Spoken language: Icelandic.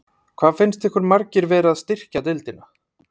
Hvað finnst ykkur margir vera að styrkja deildina?